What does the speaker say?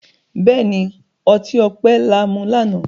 béèni, ọti ọpẹ là mú lànà.